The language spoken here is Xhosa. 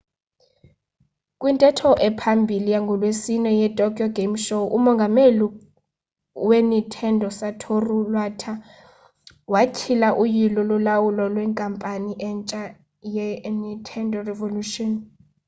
kwintetho ephambili yangolwesine yetokyo game show umongameli wenintendo usatoru iwata watyhila uyilo lolawulo lwenkampani entsha yenintendo revolution